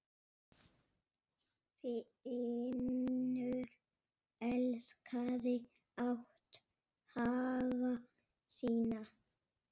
Finnur elskaði átthaga sína.